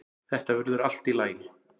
Þetta verður allt í lagi.